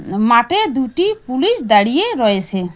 মাটে দুটি পুলিশ দাঁড়িয়ে রয়েসে।